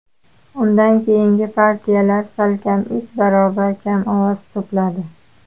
Undan keyingi partiyalar salkam uch barobar kam ovoz to‘pladi.